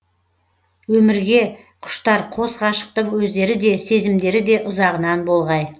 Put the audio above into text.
өмірге құштар қос ғашықтың өздері де сезімдері ұзағынан болғай